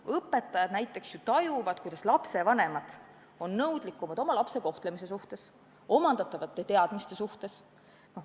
Õpetajad näiteks ju tajuvad, kuidas lapsevanemad on nõudlikumad oma lapse kohtlemise suhtes, omandatavate teadmiste suhtes.